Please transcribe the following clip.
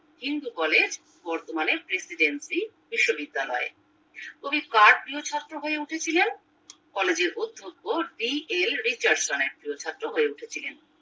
Hindu college বর্তমানে Presidency বিশ্ববিদ্যালয় কবি কার প্রিয় ছাত্র হয়ে উঠেছিলেন college এর অধ্যক্ষ দি এল রিচার্ডশন এর প্রিয় ছাত্র হয়ে উঠেছিলেন